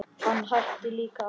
Hann hætti líka að vaxa.